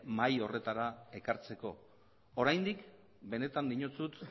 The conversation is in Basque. mahaia horretara ekartzeko oraindik benetan dinotsut